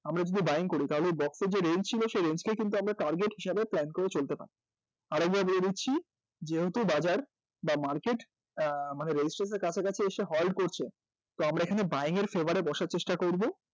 আমরা যদি buying করি তাহলে এই box এ যে range ছিল সেই range কেই কিন্তু আমরা target হিসেবে plan করে চলতে পারব আরেকবার বলে দিচ্ছি যেহেতু বাজার বা market মানে resistance এর কাছাকাছি এসে halt করছে তো আমরা এখানে buying এর favour এ বসার চেষ্টা করব